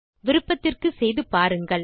விருப்பத்திற்கு செய்து பாருங்கள்